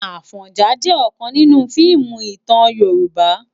Afònjá jè òkán ninú fiimú itán Yoruba